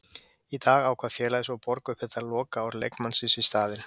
Í dag ákvað félagið svo að borga upp þetta lokaár leikmannsins í staðinn.